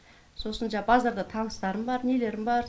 сосын жаңа базарда таныстарым бар нелерім бар